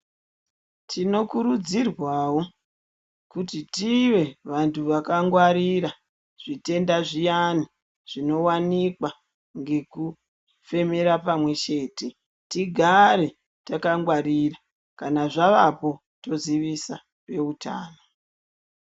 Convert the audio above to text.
Tinokurudzirwawo kuti tive vanthu vakangwarira zvitenda zviyani zvinowanika nekufemera pamwechete tigare takangwarira kana zvavapo tozivisa veutano.